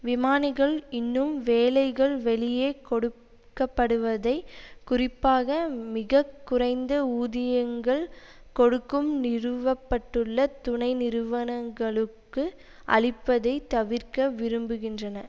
விமானிகள் இன்னும் வேலைகள் வெளியே கொடுக்க படுவதை குறிப்பாக மிக குறைந்த ஊதியங்கள் கொடுக்கும் நிறுவ பட்டுள்ள துணை நிறுவனங்களுக்கு அளிப்பதை தவிர்க்க விரும்புகின்றன